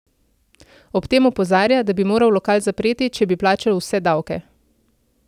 Ob tem opozarja, da bi moral lokal zapreti, če bi plačal vse davke.